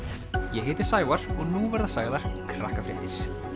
ég heiti Sævar og nú verða sagðar